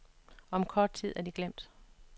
Om kort tid er de glemt.